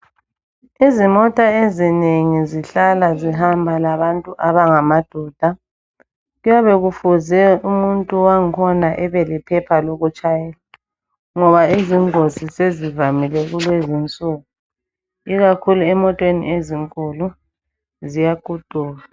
Izimota ezinengi zihlala zihamba labantu abangamadoda. Kuyabe kufuze umuntu wakhona abelephepha lokutshayela ngoba izingozi sezivamile kulezinsuku. Ikakhulu emoteni ezinkulu ziyakutuka.